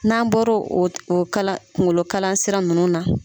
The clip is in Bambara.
N'an bɔr'o kungolo kala kungolosira ninnu na.